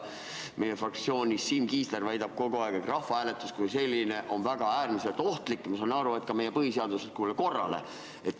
Meie fraktsioonis Siim Kiisler väidab kogu aeg, et rahvahääletus kui selline on äärmiselt ohtlik, ma saan aru, et ka meie põhiseaduslikule korrale.